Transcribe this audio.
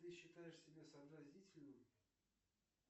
ты считаешь себя сообразительным